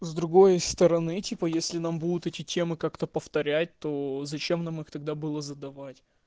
с другой стороны типа если нам будут эти темы как-то повторять то зачем нам их тогда было задавать